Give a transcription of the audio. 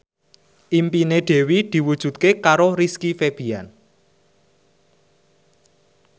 impine Dewi diwujudke karo Rizky Febian